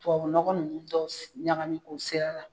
Tubabu nɔgɔ ninnu dɔw ɲagami k'o sɛri a la.